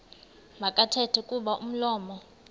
makathethe kuba umlomo